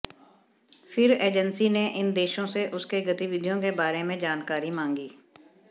फिर एजेंसी ने इन देशों से उसके गतिविधियों के बारे में जानकारी मांगी